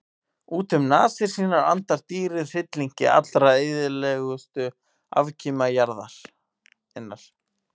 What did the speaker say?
Út um nasir sínar andar dýrið hryllingi allra eyðilegustu afkima jarðarinnar.